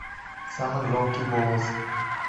самый громкий голос